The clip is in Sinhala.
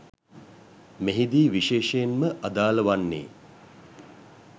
මෙහිදී විශේෂයෙන් ම අදාළ වන්නේ